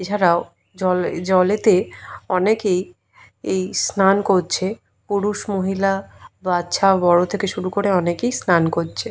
এছাড়াও জলে জলেতে অনেকেই এই স্নান করছে পুরুষ মহিলা বাচ্চা থেকে বড় করে অনেকেই স্নান করছে।